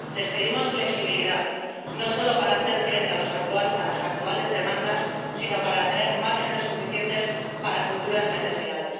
Les pedimos flexibilidad, no solo para hacer frente a las actuales demandas sino para tener márgenes suficientes para futuras necesidades.